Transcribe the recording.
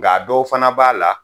Nka a dɔw fana b'a la